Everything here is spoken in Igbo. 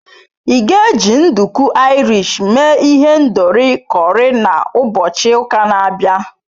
Ị ga-eji nduku Irish mee ihendori curry na ụbọchị ụka na-abịa?